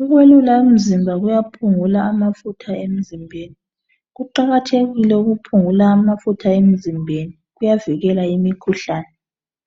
ukwelula umzimba kuyaphungula amafutha emzimbeni kuqakathekile ukuphungula amafutha emzimbeni kuyavikela imikhuhlane